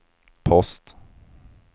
post